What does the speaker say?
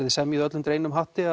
þið semjið öll undir einum hatti